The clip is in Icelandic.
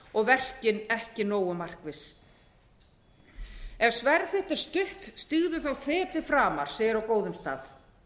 og verkin ekki nógu markviss ef hvernig sem stígðu þá feti framar segir á góðum stað